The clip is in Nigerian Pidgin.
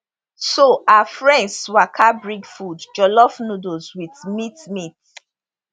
so her friends waka bring food jollof noodles wit meat meat